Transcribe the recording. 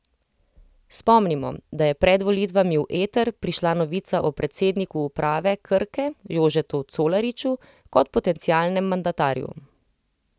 Spomnimo, da je pred volitvami v eter prišla novica o predsedniku uprave Krke Jožetu Colariču kot potencialnem mandatarju.